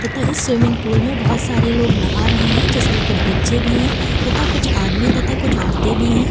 तथा इस swimming pool में बहोत सारे लोग नहा रहे हैं जिसमें कुछ बच्चे तथा कुछ आदमी तथा कुछ औरते भी है।